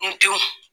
N denw